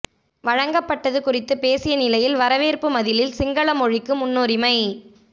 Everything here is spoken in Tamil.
வழங்கப்பட்டது குறித்து பேசிய நிலையில் வரவேற்பு மதிலில் சிங்கள மொழிக்கு முன்னுரிமை